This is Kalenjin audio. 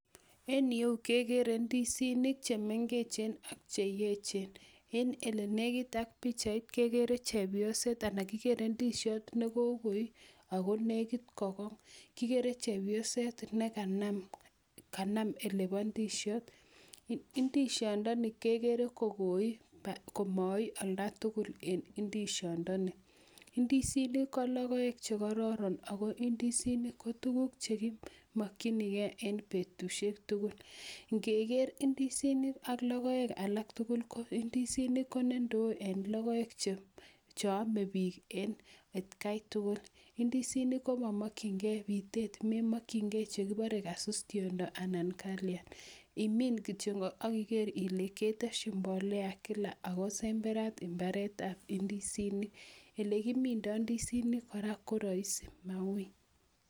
Eng yu kekere ndisinik chemengechen ak cheechen eng olelekit ak pikchait kekere ndisiot nekokoi akolekit kokong kikere chepyoset nekanam olepo ndisiot ndishondoni kekere kokoi akomai olda tugul eng ndisiondoni ndisinik ko logoek chekororon ako ndisinik ko tukuk chekimokchinigei eng betushiek tugul